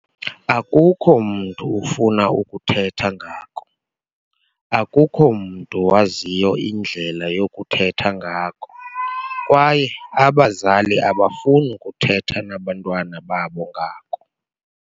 Akukho mntu ufuna ukuthetha ngako, akukho mntu waziyo indlela yokuthetha ngako kwaye abazali abafuni kuthetha nabantwana babo ngako.